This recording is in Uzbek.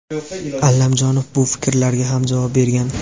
Allamjonov bu fikrlarga ham javob bergan.